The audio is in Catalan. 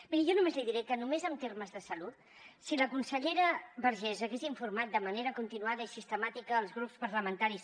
miri jo només li diré que només en termes de salut si la consellera vergés hagués informat de manera continuada i sistemàtica els grups parlamentaris